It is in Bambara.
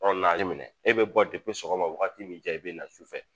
Ɔ na ninn minɛ e be bɔ depi sɔgɔma wagati min y'i ja i be na sufɛ